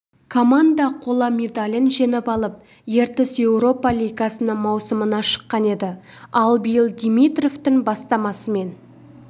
команда қола медалін жеңіп алып ертіс еуропа лигасының маусымына шыққан еді ал биыл димитровтың бастамасымен